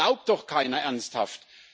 Das glaubt doch keiner ernsthaft.